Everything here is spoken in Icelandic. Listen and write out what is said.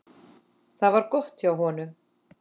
Það var gott hjá honum.